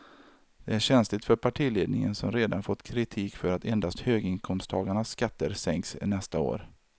Det är känsligt för partiledningen som redan fått kritik för att endast höginkomsttagarnas skatter sänks nästa år.